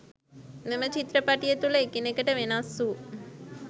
මෙම චිත්‍රපටිය තුල එකිනෙකට වෙනස් වූ